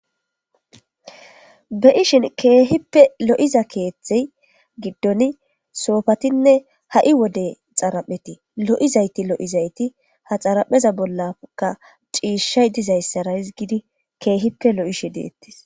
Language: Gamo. beyishin keehippe lo'iza keethtey giddon soofatinne ha"i wode xarapheti lo'izayti lo'izayti ha xarapheza bollaka ciishshay dizayssara gidi keehippe lo'ishi deettes